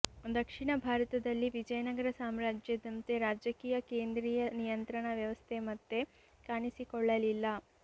ದಕ್ಷಿಣ ಭಾರತದಲ್ಲಿ ವಿಜಯನಗರ ಸಾಮ್ರಾಜ್ಯದಂತೆ ರಾಜಕೀಯ ಕೇಂದ್ರಿಯ ನಿಯಂತ್ರಣ ವ್ಯವಸ್ಥೆ ಮತ್ತೆ ಕಾಣಿಸಿಕೊಳ್ಳಲಿಲ್ಲ